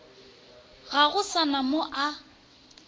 go sa na mo a